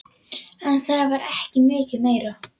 En það var ekki mikið meira.